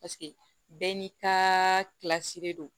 Paseke bɛɛ n'i ka de don